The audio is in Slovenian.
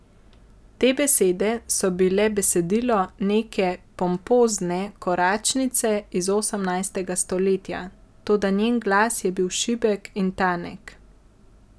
Te besede so bile besedilo neke pompozne koračnice iz osemnajstega stoletja, toda njen glas je bil šibek in tanek.